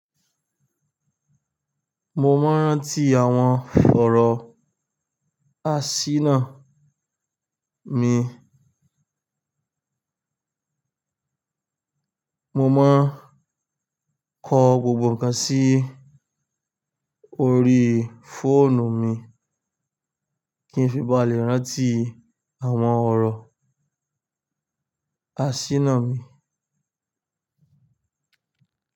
Mo máa ń rántí àwọn fọ̀rọ̀ àsínà mi. Mo máa ń kọ gbogbo ǹkan sí orí fóònù mi kí n fi bá lè rántí àwọn ọ̀rọ̀ àsínà mi.